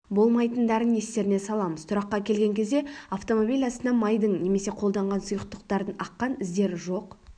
болмайтындарын естеріне саламыз тұраққа келген кезде автомобиль астынан майдың немесе қолданған сұйықтықтардың аққан іздері жоқ